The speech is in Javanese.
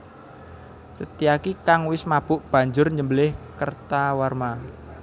Setyaki kang wis mabuk banjur nyembelih Kertawarma